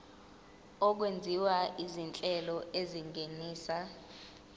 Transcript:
okwenziwa izinhlelo ezingenisa